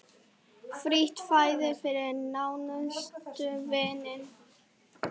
Frítt fæði fyrir nánustu vini.